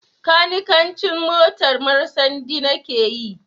Kanikancin motar marsandi na ke yi